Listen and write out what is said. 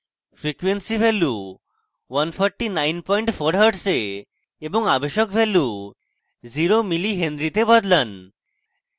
frequency value 1494hz এ এবং আবেশক value 0 mh zero milli henry তে বদলান